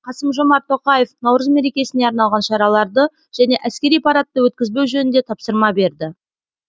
қасым жомарт тоқаев наурыз мерекесіне арналған шараларды және әскери парадты өткізбеу жөнінде тапсырма берді